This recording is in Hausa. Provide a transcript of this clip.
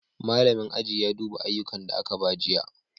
Malamin aji ya duba ayyukan da aka ba jiya.